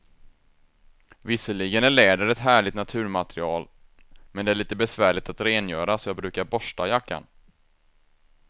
Visserligen är läder ett härligt naturmaterial, men det är lite besvärligt att rengöra, så jag brukar borsta jackan.